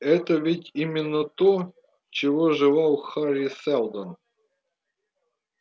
это ведь именно то чего желал хари сэлдон